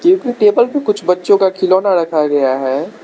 क्योंकि टेबल पे कुछ बच्चों का खिलौना रखा गया है।